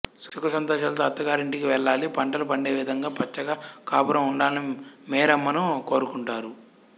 సుఖ సంతోషాలతో అత్తగారి ఇంటికి వెళ్ళాలి పంటలు పండేవిధంగా పచ్చగా కాపురం ఉండాలని మేరమ్మను కోరుకుంటారు